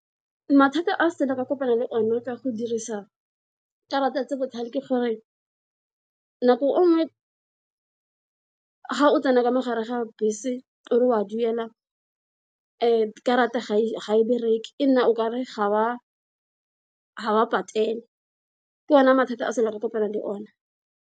Mathata a sele ka kopana le one ka go dirisa karata tse botlhale ke gore nako nngwe ga o tsena ka mogare ga bese o re wa duelang karata ga e bereke e nna okare ga wa ga wa patela, ke one mathata a sele ka kopanang le one.